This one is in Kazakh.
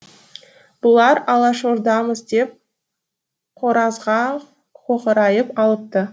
бұлар алашордамыз деп қоразға қоқырайып алыпты